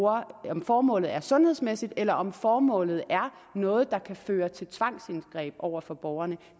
om formålet er sundhedsmæssigt eller om formålet er noget der kan føre til tvangsindgreb over for borgerne